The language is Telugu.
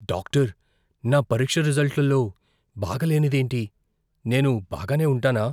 డాక్టర్, నా పరీక్ష రిజల్ట్లలో బాగాలేనిదేంటి? నేను బాగానే ఉంటానా?